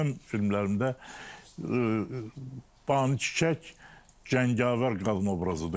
Ancaq mənim filmlərimdə ban çiçək cəngavər qadın obrazıdır.